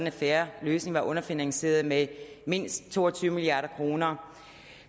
en fair løsning var underfinansieret med mindst to og tyve milliard kroner